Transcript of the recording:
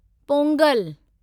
Pongal